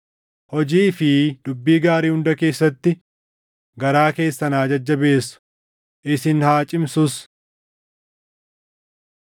hojii fi dubbii gaarii hunda keessatti garaa keessan haa jajjabeessu; isin haa cimsus.